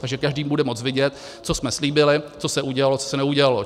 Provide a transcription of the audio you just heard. Takže každý bude moci vidět, co jsme slíbili, co se udělalo, co se neudělalo.